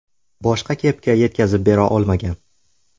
Boshqa kepka yetkazib bera olmagan.